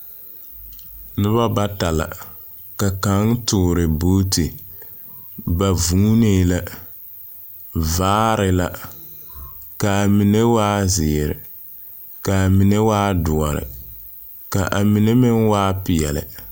Nobɔ bata la. Ka kaŋ toore buuti. Ba vuunee la, vaare la. Kaa mine waa zeere, kaa mine waa doɔre, ka a mine meŋ waa peɛle.